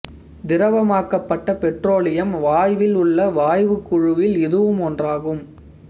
திரவமாக்கப்பட்ட petroleum வாயுவில் உள்ள வாயுக் குழுவில் இதுவும் ஒன்றாகும்